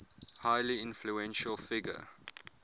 highly influential figure